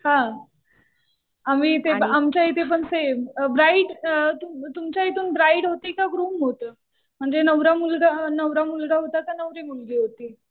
हा. आम्ही ते आमच्या इथे पण सेम. ब्राईड, तुमच्या इथून ब्राईड होती का ग्रुम होतं. म्हणजे नवरा मुलगा होता का नवरी मुलगी होती.